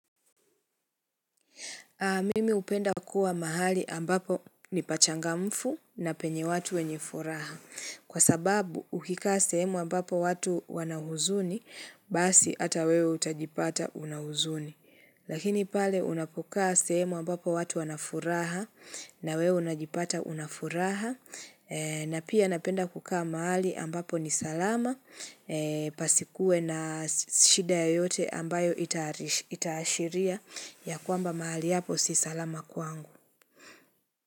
Mimi hupenda kuwa mahali ambapo ni pachangamfu na penye watu wenye furaha. Kwa sababu, ukikaa sehemu ambapo watu wana huzuni, basi hata wewe utajipata una huzuni. Lakini pale, unapokaa sehemu ambapo watu wana furaha na wewe unajipata una furaha. Na pia napenda kukaa mahali ambapo ni salama, pasikuwe na shida yoyote ambayo itaashiria. Ya kwamba mahali hapo si salama kwangu.